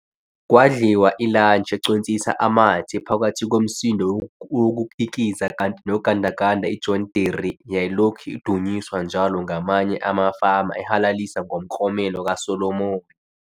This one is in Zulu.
Kwadliwa ilatshi econsisa amathe phakathi komsindo wokukikiza kanti nogandaganda iJohn Deere yayilokhu udunyiswa njalo ngamanye amafama ehalalisa ngomklomelo kaSolomon.